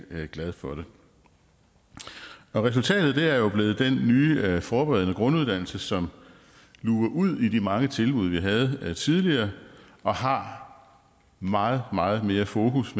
glad for det resultatet er jo blevet den nye forberedende grunduddannelse som luger ud i de mange tilbud vi havde tidligere og har meget meget mere fokus